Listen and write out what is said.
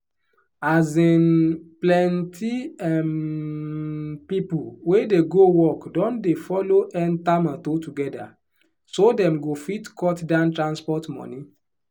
um plenty um people wey dey go work don dey follow enter motor together so dem go fit cut down transport money.